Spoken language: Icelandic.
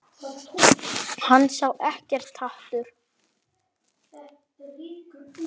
Hann sá ekkert hatur.